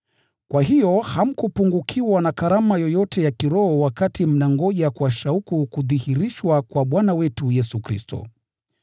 Kwa hiyo hamkupungukiwa na karama yoyote ya kiroho wakati mnangoja kwa shauku kudhihirishwa kwa Bwana wetu Yesu Kristo.